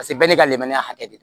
Paseke bɛɛ n'i ka lenmuruya hakɛ de